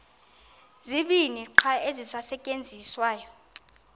zibini qha ezisasetyenziswayo